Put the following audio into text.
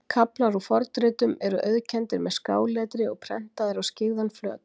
Kaflar úr fornritum eru auðkenndir með skáletri og prentaðir á skyggðan flöt.